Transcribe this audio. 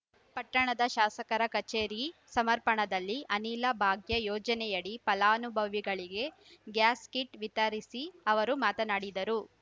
ಪಟ್ಟಣದ ಶಾಸಕರ ಕಚೇರಿ ಸಮರ್ಪಣದಲ್ಲಿ ಅನಿಲ ಭಾಗ್ಯ ಯೋಜನೆಯಡಿ ಫಲಾನುಭವಿಗಳಿಗೆ ಗ್ಯಾಸ್‌ ಕಿಟ್‌ ವಿತರಿಸಿ ಅವರು ಮಾತನಾಡಿದರು